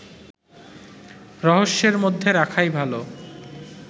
রহস্যের মধ্যে রাখাই ভালো